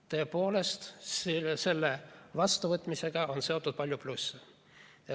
Tõepoolest, selle vastuvõtmisega on seotud palju plusse.